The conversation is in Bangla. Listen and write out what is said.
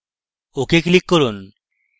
ok click করুন